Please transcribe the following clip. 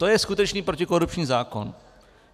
To je skutečně protikorupční zákon.